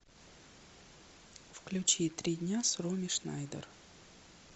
включи три дня с роми шнайдер